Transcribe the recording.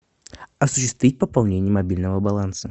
осуществить пополнение мобильного баланса